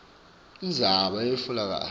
indzaba ayetfulekanga kahle